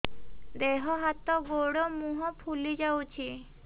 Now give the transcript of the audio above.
ଦେହ ହାତ ଗୋଡୋ ମୁହଁ ଫୁଲି ଯାଉଛି